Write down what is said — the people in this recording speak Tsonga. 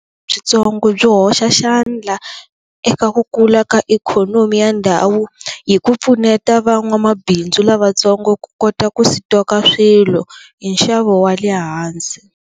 Byitsongo byi hoxa xandla eka ku kula ka ikhonomi ya ndhawu hi ku pfuneta van'wamabindzu lavatsongo ku kota ku swilo hi stock-a hi nxavo wa le hansi.